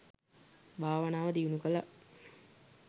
භාවනාව දියුණු කළා.